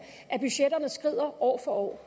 at budgetterne skrider år for år